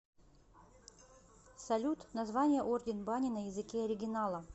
салют название орден бани на языке оригинала